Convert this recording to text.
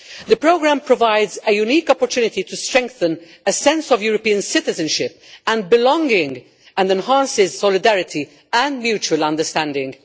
The programme provides a unique opportunity to strengthen a sense of European citizenship and belonging, and enhances solidarity and mutual understanding.